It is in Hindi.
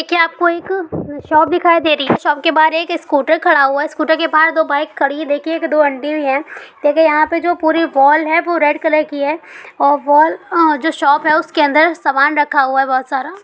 क्या आपको एक शॉप दिखाई दे रही है? जो शॉप के बहार एक स्कूटर खड़ा हुआ है| स्कूटर के पास दो बाइक खड़ी है| देखिये की दो आंटी भी है| देखिये यहाँ पे जो पूरी वाल है वो रेड कलर की है और वाल अ जो शॉप है| उसके अंदर सामान रखा हुआ है।